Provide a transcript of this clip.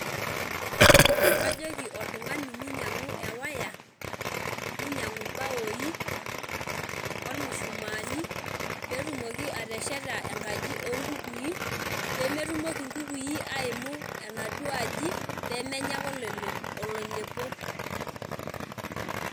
Kajoki oltung'ani minyang'u ewaya, ninyang'u bawoi, ormushumaani, petumoki atesheta enkaji onkukui, pemetumoki inkukui aimu enaduo aji, pemenya ake oloilepo.